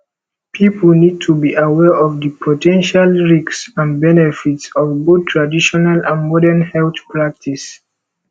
people need to be aware of di po ten tial risks and benefits of both traditional and morden health practices